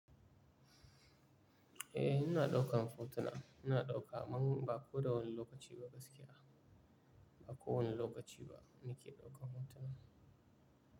Eh, ina ɗaukan photuna. Ina ɗauka, amma ba koda wani lokaci ba gaskiya. Ba kowane lokaci ba nike ɗaukan hoto ba.